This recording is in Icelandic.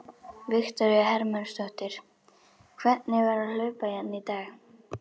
Viktoría Hermannsdóttir: Hvernig var að hlaupa hérna í dag?